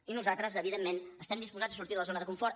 i nosaltres evidentment estem disposats a sortit de la zona de confort